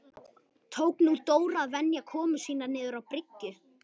Tók nú Dór að venja komur sínar niður á bryggju.